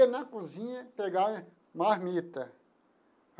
Na cozinha pegar marmita.